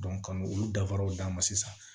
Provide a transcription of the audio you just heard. ka n'olu dafaraw d'a ma sisan